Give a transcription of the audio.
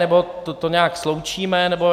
Nebo to nějak sloučíme, nebo...